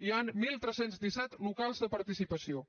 hi han tretze deu set locals de participació